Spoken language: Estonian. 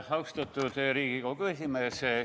Austatud Riigikogu esimees!